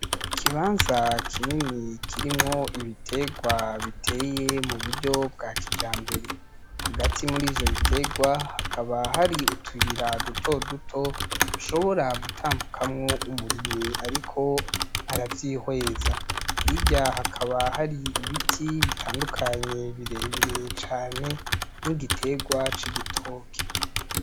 Ikibanza kinini kirimwo ibiterwa biteye mu buryo bwa kijambere . Hagati muri ivyo biterwa hakaba hari utuyira dutoduto dushobora gutambukamwo umurimyi ariko aravyihweza .Hirya hakaba hari ibiti bitandukanye birebire cane n'igiterwa c'igitoke.